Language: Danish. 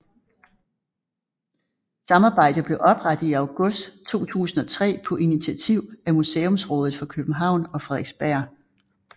Samarbejdet blev oprettet i august 2003 på initiativ af Museumsrådet for København og Frederiksberg